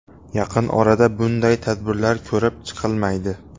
Yaqin orada bunday tadbirlar ko‘rib chqilmaydi.